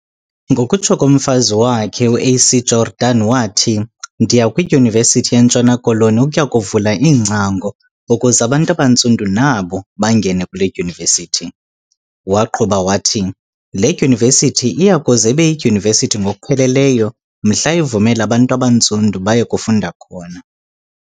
Ngokokutsho kukamfazi wakhe, uA.C.Jordan wathi "Ndiya kwidyunivesithi yeNtshona Koloni ukuya kuvula iingcango ukuze abantu abantsundu nabo bangene kule dyunivesithi. Waqhuba wathi, "le dyunivesithi iya kuze ibeyidyunivesithi ngokupheleleyo mhla ivumela abantu abantsundu baye kufunda khona."